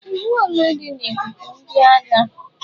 Iwu ole dị na ikuku ndị agha?